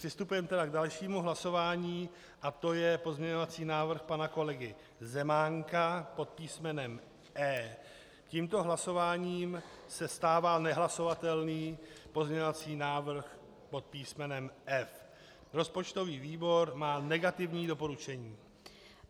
Přistupujeme tedy k dalšímu hlasování a to je pozměňovací návrh pana kolegy Zemánka pod písmenem E. Tímto hlasováním se stává nehlasovatelný pozměňovací návrh pod písmenem F. Rozpočtový výbor má negativní doporučení.